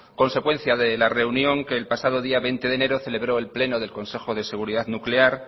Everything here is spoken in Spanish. consecuencia de la reunión que el pasado día veinte de enero celebró el pleno del consejo de seguridad nuclear